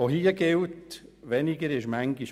Auch hier gilt, dass weniger manchmal mehr ist.